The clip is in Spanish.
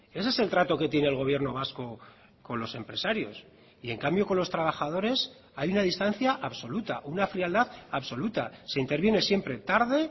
ese es el trato que tiene el gobierno vasco con los empresarios y en cambio con los trabajadores hay una distancia absoluta una frialdad absoluta se interviene siempre tarde